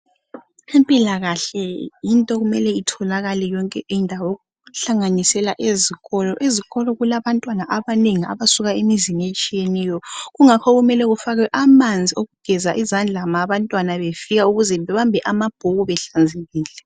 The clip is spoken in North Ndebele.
Impilakahle yinto okumele itholakale yonke indawo, okuhlanganisela ezikolo. Ezikolo kulabantwana abanengi abasuka emizini etshiyeneyo, kungakho kumele kufakwe amanzi okugeza izandla nxa abantwana befika ukuze babambe amabhuku behlanzekile.